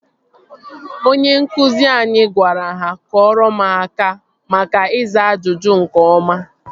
Onye nkụzi anyị gwara ha kụọrọ m aka maka ịza ajụjụ nke ọma